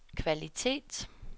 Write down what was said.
kvalitet